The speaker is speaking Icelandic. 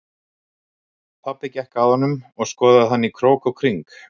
Pabbi gekk að honum og skoðaði hann í krók og kring.